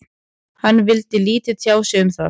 Hann vildi lítið tjá sig um það.